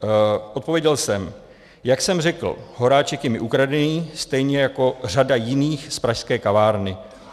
Odpověděl jsem: Jak jsem řekl, Horáček je mi ukradený, stejně jako řada jiných z pražské kavárny.